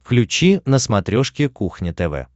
включи на смотрешке кухня тв